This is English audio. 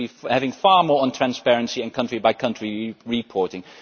We should have far more on transparency and country by country reporting.